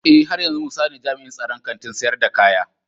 Eh, haryanzu musa ne jami'in tsaron Kantin sayar da kaya.